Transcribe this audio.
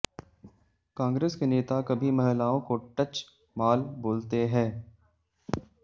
कांग्रेस के नेता कभी महिलाओं को टच माल बोलते है